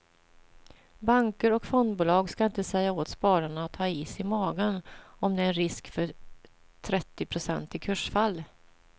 Banker och fondbolag ska inte säga åt spararna att ha is i magen om det är en risk för trettionprocentiga kursfall.